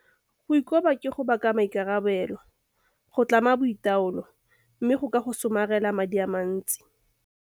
Go ikoba ke go baka maikarabelo. Go tlama boitaolo mme go ka go somarela madi a mantsi.